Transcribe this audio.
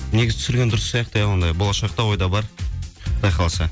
негізі түсірген дұрыс сияқты ия ондай болашақта ойда бар құдай қаласа